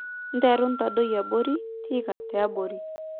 Nteru ntadoi abori(tiika tiabori